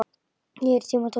Nýir tímar tóku við.